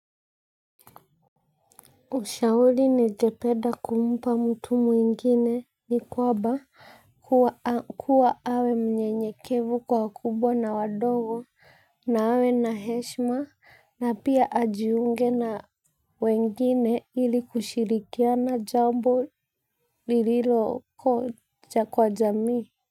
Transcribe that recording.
Ushauri ningependa kumpa mtu mwingine ni kwamba kuwa awe mnyenyekevu kwa wakubwa na wadogo na awe na heshima na pia ajiunge na wengine ili kushirikiana jambo lililo hoja kwa jamii.